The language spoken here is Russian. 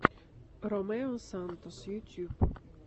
ромео сантос ютюб